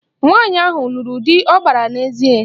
Nwaanyị ahụ lụrụ di ọ gbara n'ezi?